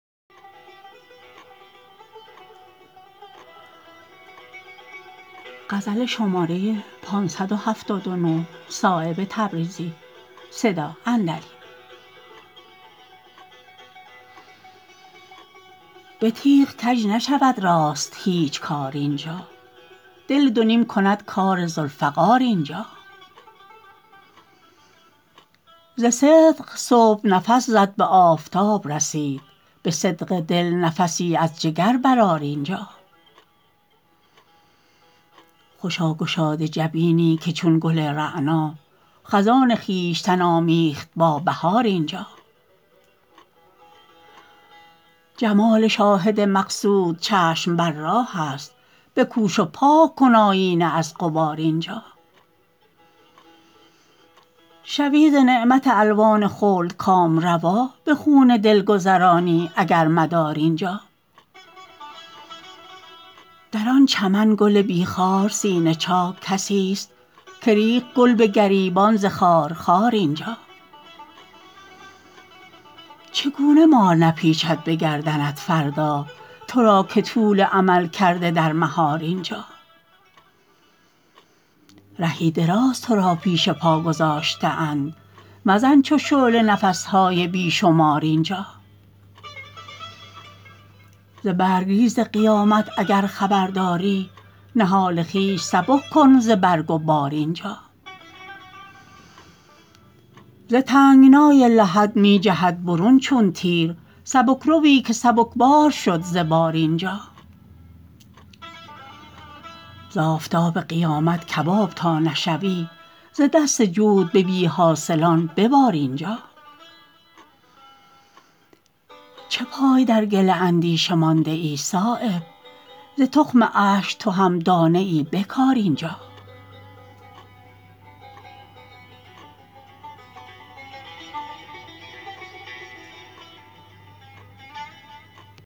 به تیغ کج نشود راست هیچ کار اینجا دل دو نیم کند کار ذوالفقار اینجا ز صدق صبح نفس زد به آفتاب رسید به صدق دل نفسی از جگر برآر اینجا خوشا گشاده جبینی که چون گل رعنا خزان خویشتن آمیخت با بهار اینجا جمال شاهد مقصود چشم بر راه است بکوش و پاک کن آیینه از غبار اینجا شوی ز نعمت الوان خلد کامروا به خون دل گذرانی اگر مدار اینجا در آن چمن گل بی خار سینه چاک کسی است که ریخت گل به گریبان ز خار خار اینجا چگونه مار نپیچد به گردنت فردا ترا که طول امل کرده در مهار اینجا رهی دراز ترا پیش پا گذاشته اند مزن چو شعله نفس های بی شمار اینجا ز برگریز قیامت اگر خبر داری نهال خویش سبک کن ز برگ و بار اینجا ز تنگنای لحد می جهد برون چون تیر سبکروی که سبکبار شد ز بار اینجا ز آفتاب قیامت کباب تا نشوی ز دست جود به بی حاصلان ببار اینجا چه پای در گل اندیشه مانده ای صایب ز تخم اشک تو هم دانه ای بکار اینجا